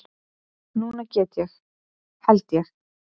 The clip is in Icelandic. Núna get ég. held ég.